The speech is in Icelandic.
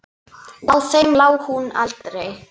Á þeim lá hún aldrei.